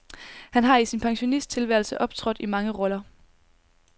Han har i sin pensionisttilværelse optrådt i mange roller.